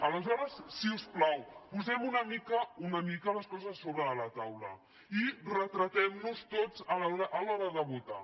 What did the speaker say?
aleshores si us plau posem una mica una mica les coses a sobre de la taula i retratem·nos tots a l’hora de votar